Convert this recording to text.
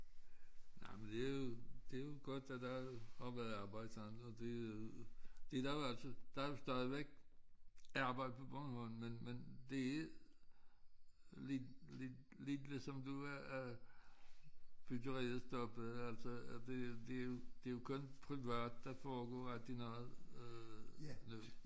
Nej men det jo det jo godt at der har været arbejde sådan og det det der jo altid der jo stadigvæk er arbejde på Bornholm men men det er lidt lidt lidt ligesom du at at byggeriet stoppede altså det det det jo kun privat der foregår aldrig noget øh nu